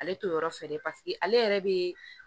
Ale t'o yɔrɔ fɛ dɛ paseke ale yɛrɛ be